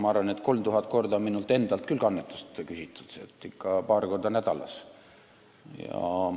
Ma arvan, et 3000 korda on ka minult endalt annetust küsitud, ikka paar korda nädalas.